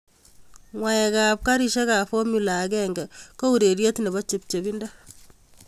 Ng'waekab karishekab fomula agenge ko urerieet nebo chepchepindo